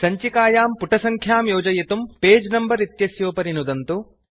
सञ्चिकायां पुटसङ्ख्यां योजयितुं पगे नम्बर इत्यस्योपरि नुदन्तु